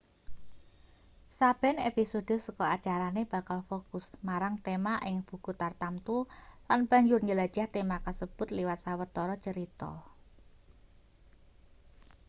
saben episode saka acarane bakal fokus marang tema ing buku tartamtu lan banjur njelajah tema kasebut liwat sawetara crita